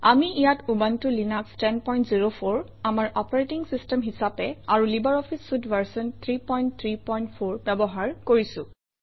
আমি ইয়াত Ubuntu Linux 1004 আমাৰ অপাৰেটিং চিষ্টেম হিচাপে আৰু লাইব্ৰঅফিছ চুইতে ভাৰ্চন 334 ব্যৱহাৰ কৰিছোঁ